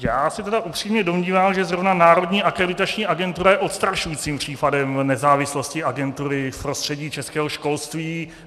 Já se tedy upřímně domnívám, že zrovna Národní akreditační agentura je odstrašujícím případem nezávislosti agentury v prostředí českého školství.